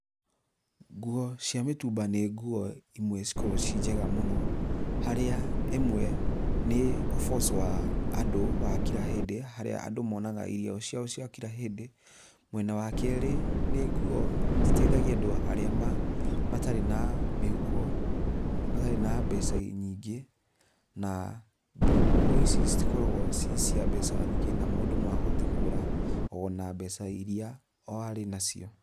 Ngũo cia mitumba nĩ ngũo imwe cikoragwo ci njega mũno, harĩa ĩmwe nĩ ũboco wa andũ wa kira hĩndĩ harĩa andũ monaga irio ciao cia kira hĩndĩ. Mwena wa keri, nĩ ngũo citeithagia andũ arĩa matarĩ na mĩhuko ,matarĩ na mbeca nyingĩ na ngũo ici citikoragwo ci cia mbeca nyingĩ na mũndũ no ahote kũgũra ona mbeca iria o arĩ nacio.